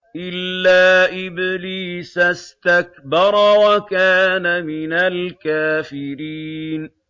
إِلَّا إِبْلِيسَ اسْتَكْبَرَ وَكَانَ مِنَ الْكَافِرِينَ